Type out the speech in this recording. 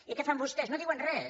i què fan vostès no diuen res